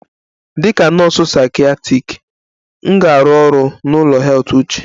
Dịka nọọsụ psychiatric, m ga-arụ ọrụ n'ụlọ heath uche d